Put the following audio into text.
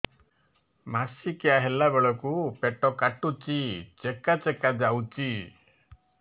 ମାସିକିଆ ହେଲା ବେଳକୁ ପେଟ କାଟୁଚି ଚେକା ଚେକା ଯାଉଚି